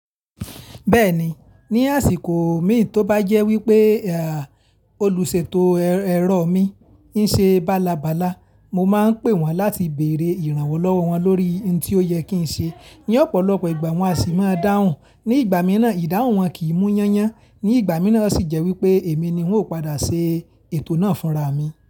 Bẹ́ẹ̀ni, ní àsìkò mí tí ó bá jẹ́ wípé, à, olùṣètò ẹ̀rọ mi ń ṣe bálabála, mo máa ń pè wọ́n láti bèrè ìrànwọ́ lọ́wọ́ wọn lórí in tí ó yẹ kí ń ṣe. Ní ọ̀pọ̀lọpọ̀ ìgbà wọ́n á sì máa dáhùn. Ní ìgbà mìíràn ìdáhùn wọn kì í mú yán yán, ní ìgbà mìíràn ó sì jẹ́ wípé èmi ni ń ò padà ṣe ètò náà fúnra mi.